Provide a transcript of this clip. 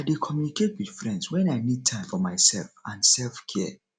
i dey communicate with friends wen i need time for myself and selfcare